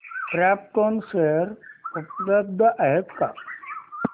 krypton share उपलब्ध आहेत का